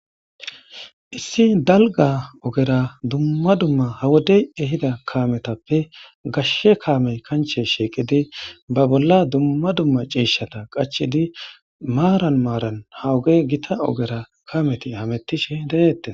Issi dalga ogera dumma dumma ha wodey ehida kametappe gashe kamey kanche shiqidi ba bolla dumma dumma cishata qachidi maran maran ha ogey gita ogera Kameti hametishe de'etes